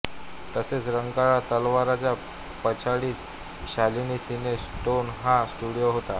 तसेच रंकाळा तलावाच्या पिछाडीस शालिनी सिने स्टोन हा स्टुडिओ होता